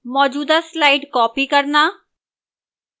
मौजूदा slides copy करना